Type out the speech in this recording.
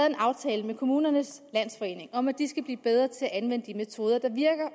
en aftale med kommunernes landsforening om at de skal blive bedre til at anvende de metoder der virker